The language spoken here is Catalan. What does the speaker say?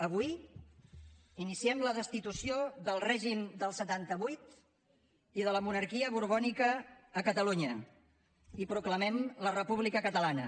avui iniciem la destitució del règim del setanta vuit i de la monarquia borbònica a catalunya i proclamem la república catalana